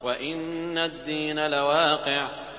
وَإِنَّ الدِّينَ لَوَاقِعٌ